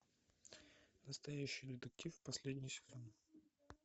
настоящий детектив последний сезон